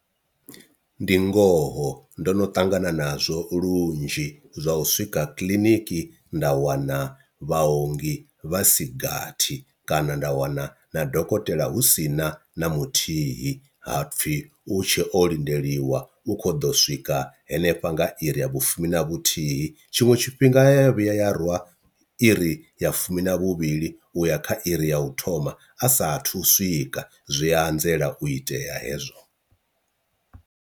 Ndi ngoho ndono ṱangana nazwo lunzhi zwa u swika kiḽiniki nda wana vhaongi vhasigathi kana nda wana na dokotela hu sina na muthihi hapfi u tshe o lindeliwa u kho ḓo swika hanefha nga iri ya vhufumi na vhuthihi, tshiṅwe tshifhinga ya vhuya ya rwa iri ya fumi na vhuvhili u ya kha iri ya u thoma a sathu swika zwi anzela u itea hezwo.